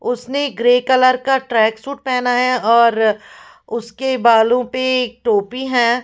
उसने grey colour का track suit पहना है और उसके बालों पे टोपी है ।